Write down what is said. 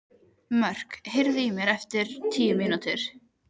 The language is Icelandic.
Mörk, heyrðu í mér eftir níutíu mínútur.